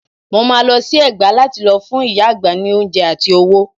Mo máa lọ sí Ẹ̀gbá lá ti lọ fún ìyá àgbà ní oúnjẹ àti owó.